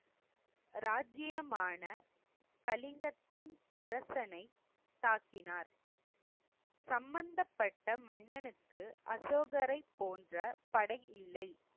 ராஜ்ஜியமான கலிங்கத்தின் அரசனைத் தாக்கினார். சம்பந்தப்பட்ட மன்னனுக்கு அசோகரைப் போன்ற படை இல்லை.